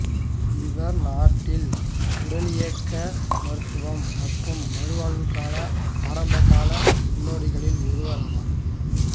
இவர் நாட்டில் உடலியக்க மருத்துவம் மற்றும் மறுவாழ்வுக்கான ஆரம்பகால முன்னோடிகளில் ஒருவராவார்